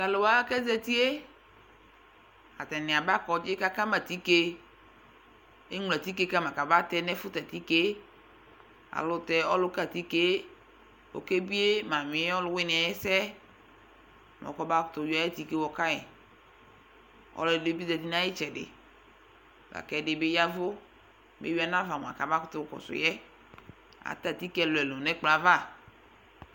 Tʋ alʋ wa kʋ azati yɛ, atanɩ aba kɔdzɩ kʋ akama atike Eŋlo atike ka ma kabatɛ nʋ ɛfʋtɛ atike yɛ Alʋtɛ ɔlʋka atike yɛ ɔkebie mamɩ yɛ ɔlʋwɩnɩ yɛ ɛsɛ, mɛ kɔmakʋtʋ yɔ ayʋ atike yɛ yɔka yɩ Ɔlɔdɩ bɩ zati nʋ ayʋ ɩtsɛdɩ la kʋ ɛdɩ bɩ ya ɛvʋ kʋ eyui yanʋ ava mʋa, kamakʋtʋ kɔsʋ yɛ Atɛ atike ɛlʋ-ɛlʋ nʋ ɛkplɔ yɛ ava